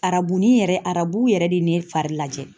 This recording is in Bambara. Arabuni yɛrɛ arabu yɛrɛ de ye ne fari lajɛ.